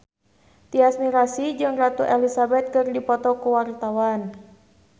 Tyas Mirasih jeung Ratu Elizabeth keur dipoto ku wartawan